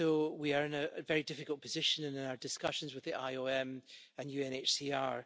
We are in a very difficult position in our discussions with the IOM and UNHCR.